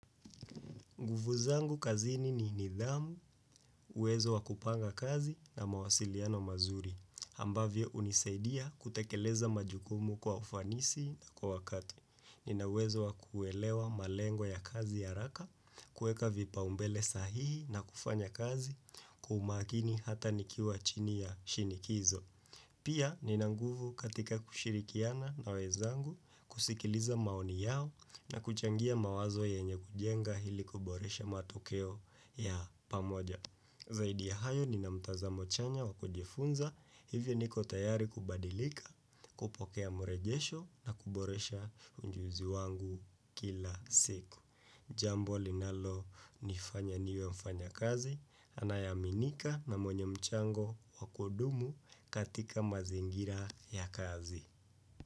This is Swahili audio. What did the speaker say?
Nguvu zangu kazini ni nidhamu, uwezo wa kupanga kazi na mawasiliano mazuri, ambavyo hunisaidia kutekeleza majukumu kwa ufanisi na kwa wakati. Nina uwezo wa kuelewa malengo ya kazi haraka, kuweka vipaumbele sahihi na kufanya kazi, kwa umakini hata nikiwa chini ya shinikizo. Pia nina nguvu katika kushirikiana na wenzangu kusikiliza maoni yao na kuchangia mawazo yenye kujenga ili kuboresha matokeo ya pamoja. Zaidi ya hayo nina mtazamo chanya wa kujifunza hivyo niko tayari kubadilika kupokea mrejesho na kuboresha ujuzi wangu kila siku. Jambo linalonifanya niwe mfanyakazi, anayeaminika na mwenye mchango wa kudumu katika mazingira ya kazi.